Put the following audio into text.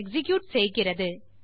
execute செய்கிறது